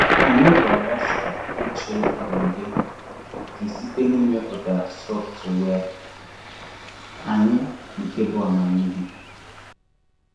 Anyị ga-agbasa uche um gị gị site n'ịmeputa sọftụwia anyị nke bụ́ amamihe.